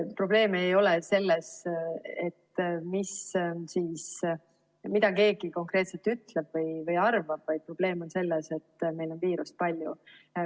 Probleem ei ole selles, mida keegi konkreetselt ütleb või arvab, vaid probleem on selles, et meil on viirust palju.